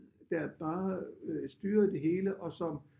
Der bare styrede det hele og som